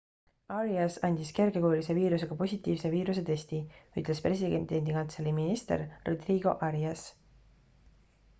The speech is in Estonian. arias andis kergekujulise viirusega positiivse viirusetesti ütles presidendikantselei minister rodrigo arias